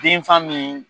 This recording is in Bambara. Den fa min